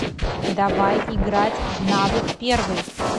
давай играть в навык первый